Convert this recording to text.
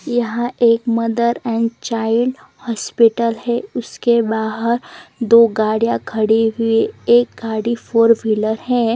यहाँ एक mother and child hospital है उसके बाहर दो गाडिया खड़ी हुई है एक गाडी फॉर विलर है।